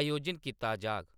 आयोजन कीता जाग।